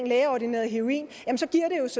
lægeordineret heroin